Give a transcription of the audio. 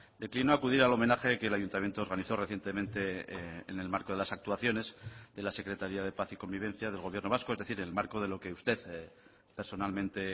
declinó acudir al homenaje que el ayuntamiento organizó recientemente en el marco de las actuaciones de la secretaría de paz y convivencia del gobierno vasco es decir en el marco de lo que usted personalmente